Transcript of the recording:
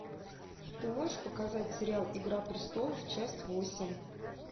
ты можешь показать сериал игра престолов часть восемь